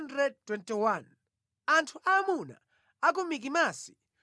Anthu aamuna a ku Mikimasi 122